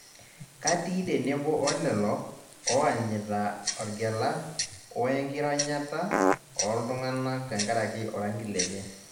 Katii tenebo olelo oanyita orgela woe nkironyata olntung'anak tenkaraki orangi lenye